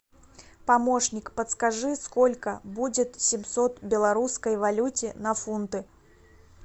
помощник подскажи сколько будет семьсот в белорусской валюте на фунты